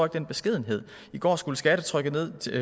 den beskedenhed i går skulle skattetrykket ned